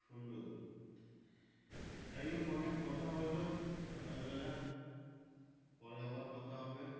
সুন্দর যাক হোক অনেক কথা হলো সকাল বেলা পরে আবার কথা হবে।